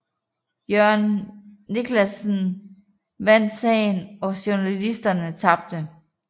Jørgen Niclasen vandt sagen og journalisterne tabte